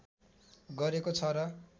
गरेको छ र